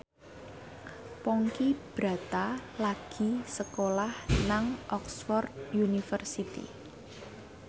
Ponky Brata lagi sekolah nang Oxford university